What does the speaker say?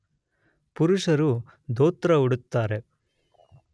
ಪುರುಷರು ದೋತ್ರ ಉಡುತ್ತಾರೆ